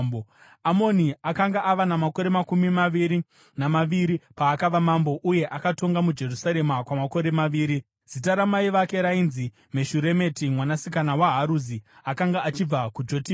Amoni akanga ava namakore makumi maviri namaviri paakava mambo, uye akatonga muJerusarema kwamakore maviri. Zita ramai vake rainzi Meshuremeti mwanasikana waHaruzi; akanga achibva kuJotibha.